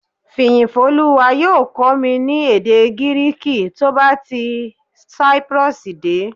Fìyìfólúwa yóò kọ́ mi ní èdè Gíríìkì tó bá ti Cyprus dé